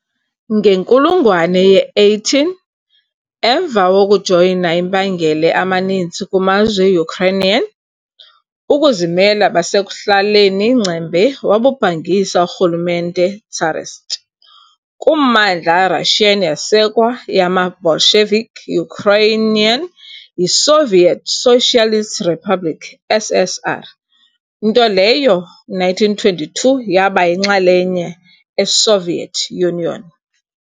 Ngenkulungwane ye-18, emva wokujoyina impangele amaninzi kumazwe Ukrainian, ukuzimela basekuhlaleni ngcembe wabubhangisa urhulumente tsarist. Kummandla Russian yasekwa yamaBolshevik Ukrainian yiSoviet Socialist Republic, SSR, nto leyo 1922 yaba yinxalenye eSoviet Union.